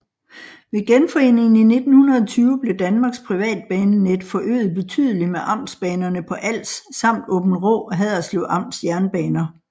Ved genforeningen i 1920 blev Danmarks privatbanenet forøget betydeligt med amtsbanerne på Als samt Aabenraa og Haderslev Amts jernbaner